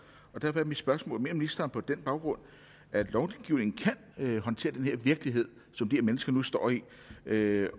og derfor er mit spørgsmål mener ministeren på den baggrund at lovgivningen kan håndtere den virkelighed som de her mennesker nu står i med